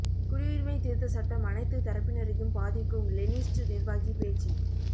குடியுரிமை திருத்த சட்டம் அனைத்து தரப்பினரையும் பாதிக்கும் லெனினிஸ்ட் நிர்வாகி பேச்சு